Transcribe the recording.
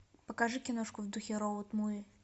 покажи киношку в духе роуд муви